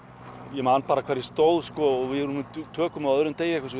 ég man bara hvar ég stóð sko og við vorum í tökum á öðrum degi eitthvað